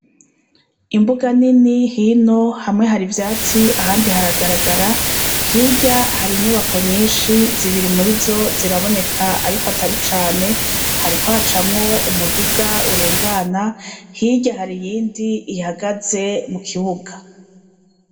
Imbuga nini hino , hamwe hari ivyatsi ahandi haragaragara, hirya hari inyubako nyinshi , zibiri murizo zitaboneka ariko atari cane , hariko hacamwo umuduga kurengana, hirya hari iyindi ihagaze mu kibuga.